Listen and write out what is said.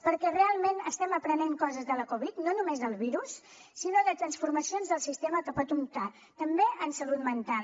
perquè realment estem aprenent coses de la covid no només del virus sinó de transformacions del sistema que pot comportar també en salut mental